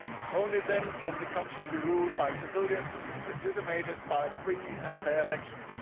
Only then can the country be ruled by civilians legitimated by free and fair elections.